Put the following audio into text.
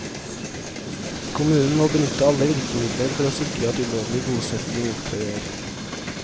Kommunen må benytte alle virkemidler for å sikre at ulovlig bosetting opphører.